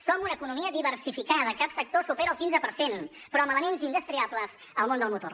som una economia diversificada cap sector supera el quinze per cent però amb elements indestriables al món del motor